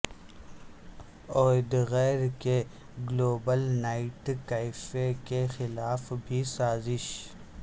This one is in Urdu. اودگیر کے گلوبل نیٹ کیفے کے خلاف بھی سازش